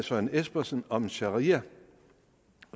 søren espersen om sharia